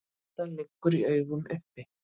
Þetta liggur í augum uppi.